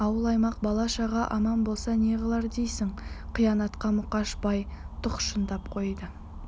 ауыл-аймақ бала-шаға аман болса не қылар дейсің қайыната мұқыш бай тұқшыңдап қойды